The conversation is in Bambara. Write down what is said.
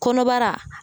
Kɔnɔbara